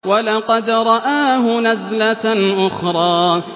وَلَقَدْ رَآهُ نَزْلَةً أُخْرَىٰ